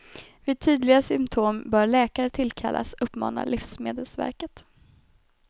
Vid tydliga symptom bör läkare tillkallas, uppmanar livsmedelsverket.